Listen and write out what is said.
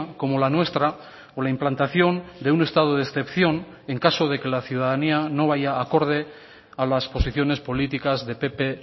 como la nuestra o la implantación de un estado de excepción en caso de que la ciudadanía no vaya acorde a las posiciones políticas de pp